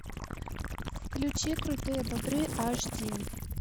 включи крутые бобры аш ди